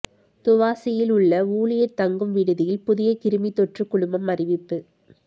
துவாசில் உள்ள ஊழியர் தங்கும் விடுதியில் புதிய கிருமித்தொற்று குழுமம் அறிவிப்பு